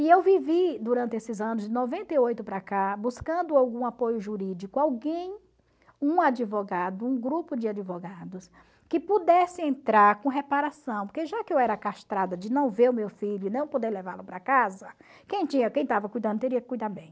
E eu vivi durante esses anos, de noventa e oito para cá, buscando algum apoio jurídico, alguém, um advogado, um grupo de advogados, que pudesse entrar com reparação, porque já que eu era castrada de não ver o meu filho e não poder levá-lo para casa, quem tinha quem estava cuidando teria que cuidar bem.